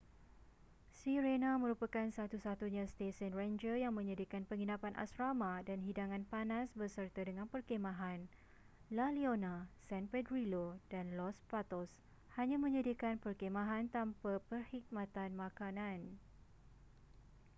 sirena merupakan satu-satunya stesen renjer yang menyediakan penginapan asrama dan hidangan panas beserta dengan perkhemahan la leona san pedrillo dan los patos hanya menyediakan perkhemahan tanpa perkhidmatan makanan